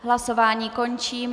Hlasování končím.